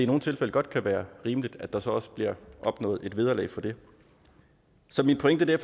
nogle tilfælde godt kan være rimeligt at der så også bliver opnået et vederlag for det så min pointe er